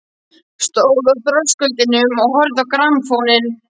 Stóð á þröskuldinum og horfði á grammófóninn.